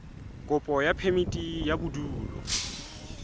kopo ya phemiti ya bodulo